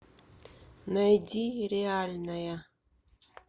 найди реальная